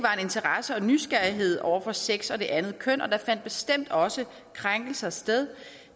interesse og nysgerrighed over for sex og det andet køn og der fandt bestemt også krænkelser sted